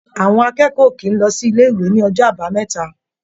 À̀wọn akẹ́kọ̀ọ́ ò kì í lọ sí ilé-ìwé ní ọjọ́ Àbámẹ́ta.